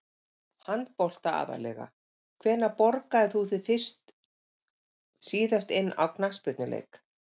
Handbolta aðallega Hvenær borgaðir þú þig síðast inn á knattspyrnuleik?